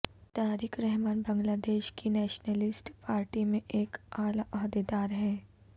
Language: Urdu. طارق رحمان بنگلہ دیش کی نیشنلسٹ پارٹی میں ایک اعلی عہدیدار ہیں